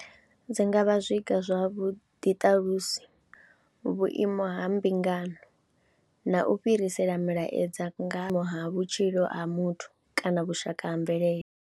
Dzi nga vha zwiga zwa vhuḓiṱalusi vhuimo ha mbingano na u fhirisela milaedza nga ha vhutshilo ha muthu kana vhushaka ha mvelele.